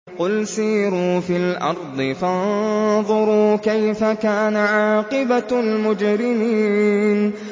قُلْ سِيرُوا فِي الْأَرْضِ فَانظُرُوا كَيْفَ كَانَ عَاقِبَةُ الْمُجْرِمِينَ